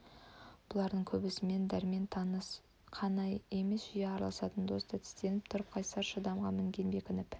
бұлардың көбімен дәрмен таныс қана емес жиі араласатын дос та тістеніп тұрып қайсар шыдамға мінген бекініп